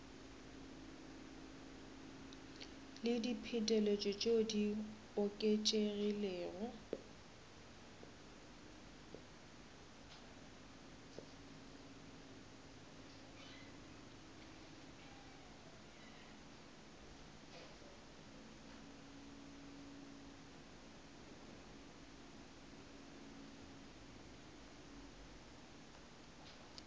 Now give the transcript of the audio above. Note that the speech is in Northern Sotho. le diphetetšo tšeo di oketšegilego